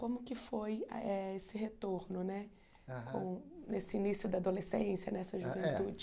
Como que foi eh esse retorno né aham, nesse início da adolescência, nessa juventude?